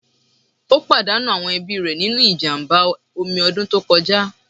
Ó pàdánù àwọn ẹbí rẹ̀ nínú ìjàmbá omi ọdún tó kọjá.